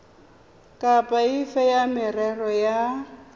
kapa efe ya merero ya